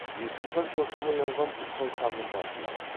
есім хан шошып оянған тұрсын ханның басын алады